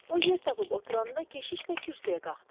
O yer tapıb oturanda, keşiş də kürsüyə qalxdı.